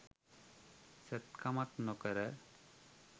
සැත්කමක් නොකර